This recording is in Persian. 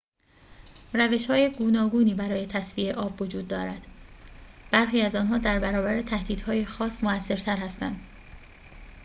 روش‌های گوناگونی برای تصفیه آب وجود دارد برخی از آنها در برابر تهدیدهای خاص مؤثرتر هستند